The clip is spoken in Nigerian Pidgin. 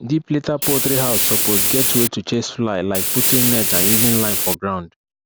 deep litter poultry house suppose get way to chase fly like putting net and using lime for ground